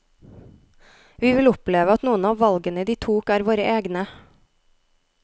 Vi vil oppleve at noen av valgene de tok er våre egne.